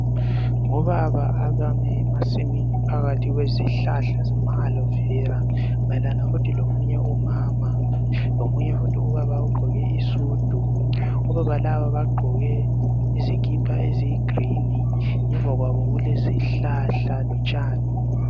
Ngobaba abame emasimini phakathi kwezihlahla zama alovera futhi lomunye umama lomunye futhi ubaba ogqoke isudu. Obaba laba bagqoke izikipa eziluhlaza ngemva kwabo kulezihlahla lotshani.